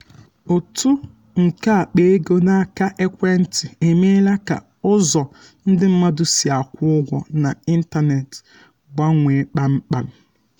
uto nke akpa ego n’aka ekwentị emeela ka ụzọ ndị mmadụ si akwụ ụgwọ n'ịntanetị gbanwee kpamkpam.